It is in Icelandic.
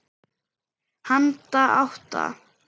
Handa átta